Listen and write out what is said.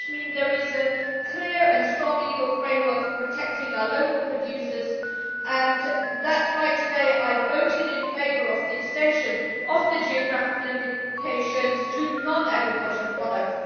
This will mean there is a clear and strong legal framework for protecting our local producers, and that is why today I voted in favour of the extension of the geographical indications to non agricultural products.